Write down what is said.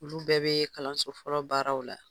Olu bɛɛ bɛ kalanso fɔlɔ baaraw la.